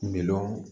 Miliyɔn